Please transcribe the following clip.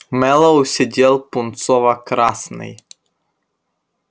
мэллоу сидел пунцово-красный